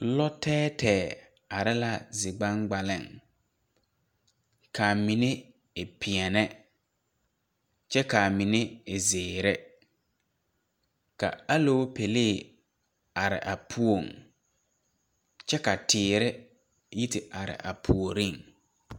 Lɔ tɛɛtɛɛ are la zi gbaŋgbaliŋ kaa mine e pèɛɛne kyɛ kaa mine e zeere ka aloopɛlee are a poɔŋ kyɛ ka teere yi te are a puoriŋ.